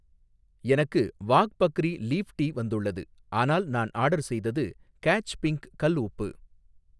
எனக்கு Wagh Bakri leaf tea வந்துள்ளது, ஆனால் நான் ஆர்டர் செய்தது கேட்ச் பிங்க் கல் உப்பு